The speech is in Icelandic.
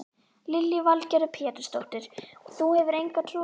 Lillý Valgerður Pétursdóttir: Þú hefur enga trú á því?